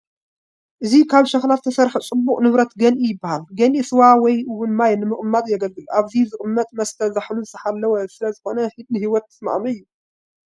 እዚ ካብ ሸክላ ዝተሰርሐ ፅቡቕ ንብረት ገንኢ ይበሃል፡፡ ገንኢ ስዋ ወይ እውን ማይ ንምቕማጥ የግልግል፡፡ ኣብዚ ዝቕመጥ መስተ ዛሕሉ ዝተሓለወ ስለዝኾነ ንህይወት ተስማዕምዒ እዩ፡፡